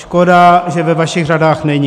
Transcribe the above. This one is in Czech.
Škoda, že ve vašich řadách není.